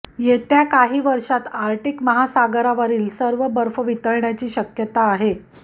येत्या काही वर्षात आर्क्टिक महासागरावरील सर्व बर्फ वितळण्याची शक्यता आहे